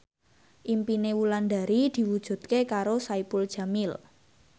impine Wulandari diwujudke karo Saipul Jamil